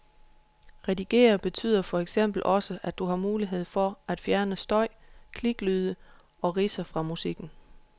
Redigere betyder for eksempel også, at du har mulighed for at fjerne støj, kliklyde og ridser fra musikken.